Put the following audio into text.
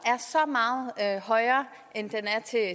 er så meget højere end den er til